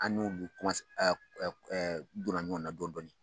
An n'o bɛ donna ɲɔgɔn na dɔɔnin dɔɔnin